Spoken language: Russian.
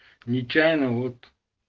нечаянно вот